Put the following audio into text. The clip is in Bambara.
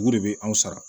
Dugu de bɛ anw sara